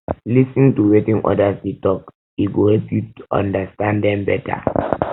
lis ten to wetin others dey talk e go help you understand dem better